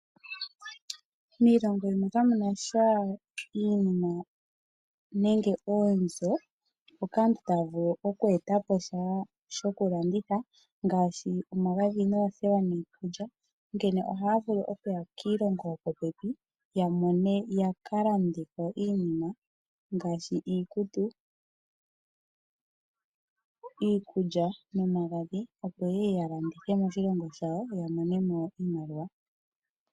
Miiongo yimwe kamunasha iinima nenge oonzo mpoka aantu taya vulu oku eta po sha shokulanditha ngaashi omagadhi, oothewa niikulya. Onkene oha ya vulu okuya kiilongo yopopepi ya mone, yaka lande ko iinima ngaashi iikutu, iikulya nomagadhi. Opo ye ye ya landitha moshilongo shawo ya mone mo oshimaliwa.